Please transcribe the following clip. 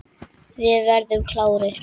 Við verðum klárir.